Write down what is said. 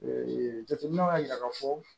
Ee jateminɛw y'a jira k'a fɔ